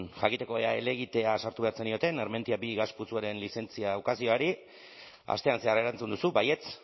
jakiteko ea helegitea sartu behar zenioten armentiaminus bi gas putzuaren lizentzia ukazioari astean zehar erantzun duzu baietz